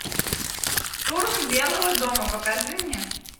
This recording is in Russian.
штурм белого дома покажи мне